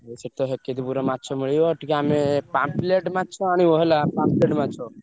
ସେଠି ମିଳିବ। ଟିକେ ଆମେ pamphlet ମାଛ ଆଣିବ ହେଲା pamphlet ମାଛ